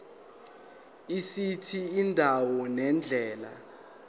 esithi indawo nendlela